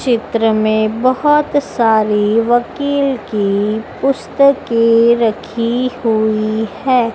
चित्र में बहुत सारी वकील की पुस्तकें रखी हुई है।